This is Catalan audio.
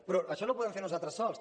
però això no ho podem fer nosaltres sols